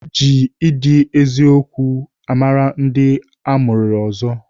Eji ịdị eziokwu mara ndị amụarịrị ọzọ.